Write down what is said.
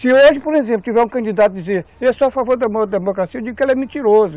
Se hoje, por exemplo, tiver um candidato dizendo, eu sou a favor da democracia, eu digo que ele é mentiroso.